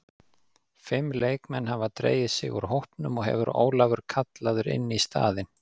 Fimm leikmenn hafa dregið sig úr hópnum og hefur Ólafur kallaður inn í staðinn.